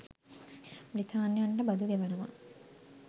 බ්‍රිතාන්‍යයන්ට බදු ගෙවනවා